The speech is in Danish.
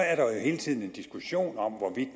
er der jo hele tiden en diskussion om hvorvidt